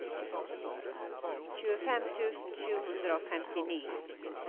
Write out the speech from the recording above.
tjuefem tusen sju hundre og femtini